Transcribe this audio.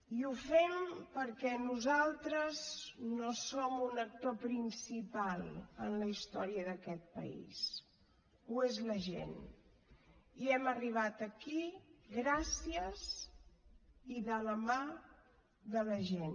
i ho fem perquè nosaltres no som un actor principal en la història d’aquest país ho és la gent i hem arribat aquí gràcies i de la mà de la gent